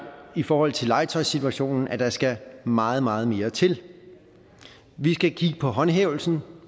i forhold til legetøjssituationen at der skal meget meget mere til vi skal kigge på håndhævelsen